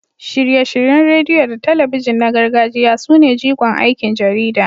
Shirye-shiryen rediyo da talabijin na gargajiya sune jigon aikin jarida.